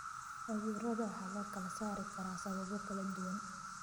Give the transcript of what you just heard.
Cudurrada waxaa loo kala saari karaa sababo kala duwan.